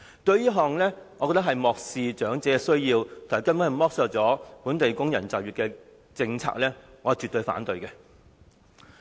我認為這根本是漠視長者的需要、剝削本地工人就業的政策，我絕對反對。